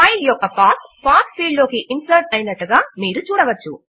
file యొక్క path path field లోకి insert అయినట్లుగా మీరు చూడవచ్చు